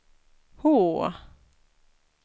H